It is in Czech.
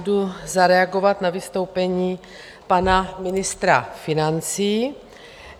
Jdu zareagovat na vystoupení pana ministra financí.